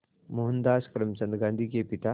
मोहनदास करमचंद गांधी के पिता